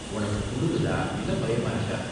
உனக்கு குளுருதா இல்ல பயமா இருக்கா?